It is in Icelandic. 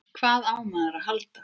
Hvað á maður að halda?